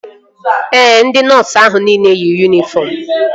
Ee, ndị nọọsu ahụ nile yi yunifọm